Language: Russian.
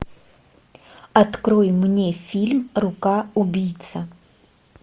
открой мне фильм рука убийцы